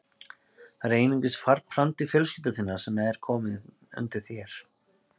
Það er einungis framtíð fjölskyldu þinnar sem er komin undir þér.